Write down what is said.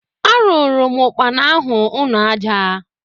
Arụụrụ m ụkpana ahụ ụnọ aja.